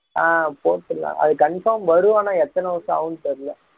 ஆஹ் போட்டு இருந்தான் அது confirm வரும் ஆனா எத்தனை வருஷம் ஆகும்னு தெரியல